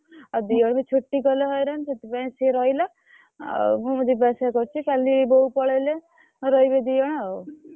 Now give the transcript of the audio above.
ଆଉ ଦି ଜଣ ବି ଛୁଟି କଲେ ହଇରାଣ ସେଇଥିପାଇଁ ସିଏ ରହିଲା ଆଉ ମୁଁ ଯିବା ଆସିବା କରୁଛି କାଲି ବୋଉ ପଳେଇଲେ ରହିବେ ଦି ଜଣ ଆଉ।